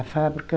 A fábrica...